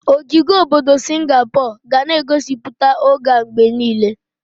Ogige obodo Singapor ga na egosipụta oge a mgbe niile.